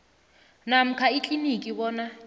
namkha ikliniki bona